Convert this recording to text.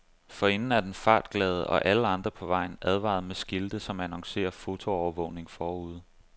Forinden er den fartglade, og alle andre på vejen, advaret med skilte, som annoncerer fotoovervågning forude.